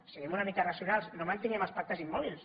siguem una mica racionals i no mantinguem els pactes immòbils